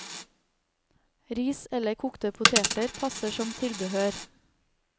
Ris eller kokte poteter passer som tilbehør.